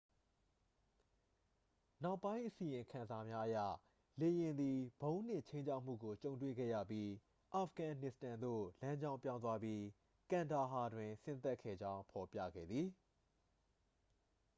နောက်ပိုင်းအစီရင်ခံစာများအရ လေယာဉ်သည် ဗုံးနှင့် ခြိမ်းခြောက်မှုကို ကြုံတွေ့ခဲ့ရပြီး အာဖဂန်နစ္စတန်သို့ လမ်းကြောင်းပြောင်းသွားပြီး ကန်ဒါဟာတွင် ဆင်းသက်ခဲ့ကြောင်း ဖော်ပြခဲ့သည်